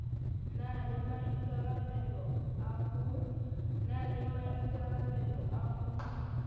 na le maikarabelo a ho